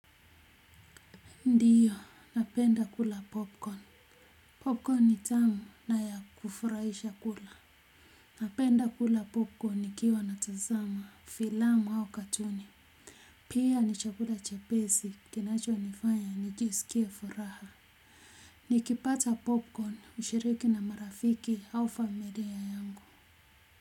Ndiyo, napenda kula popcorn. Popcorn ni tamu na ya kufuraisha kula. Napenda kula popcorn ni kiwa natazama, filamu au katuni. Pia ni chakula chepesi, kinacho nifanya, nijisikie furaha. Nikipata popcorn, hushiriki na marafiki au familia yangu.